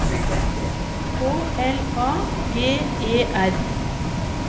K L A G E R